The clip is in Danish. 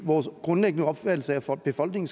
en